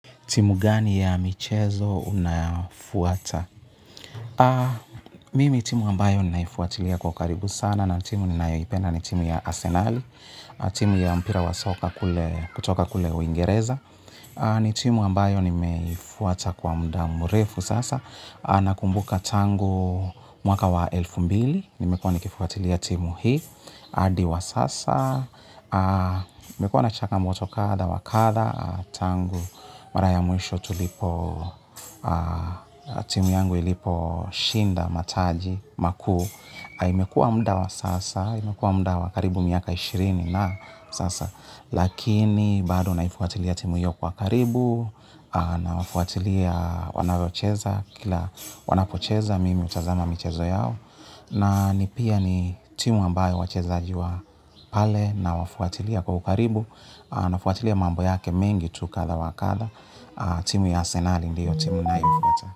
Timu gani ya michezo unafuata? Mimi timu ambayo ninaifuatilia kwa karibu sana na timu ninayoipenda ni timu ya arsenali, timu ya mpira wa soka kutoka kule uingereza. Ni timu ambayo nimefuata kwa mdua mrefu sasa. Nakumbuka tangu mwaka wa elfu mbili, nimekuwa nikifuatilia timu hii. Adi wa sasa, nimekua na changamoto kada, wakada, tangu, mara ya mwisho tulipo, timu yangu ilipo shinda mataji, makuu. Imekua muda wa sasa, imekua muda wakaribu miaka ishirini na sasa. Lakini, bado naifuatilia timu hiyo kwa karibu, nawafuatilia wanavyocheza, kila wanapocheza mimi hutazama michezo yao. Na ni pia ni timu ambayo wachezaji wa pale nawafuatilia kwa ukaribu, nafuatilia mambo yake mingi tu kadha wa kadha. Timu ya Arsenali ndiyo timu ninayoifuata.